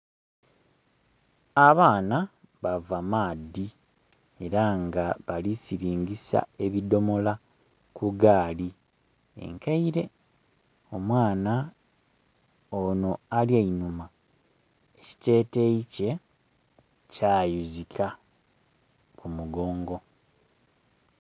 Abaana bava maadhi era nga bali kusiringisa ebidhomolo ku gaali enkaile, omwana ono ali einuma, ekiteteyi kye kayuzika ku mugongo.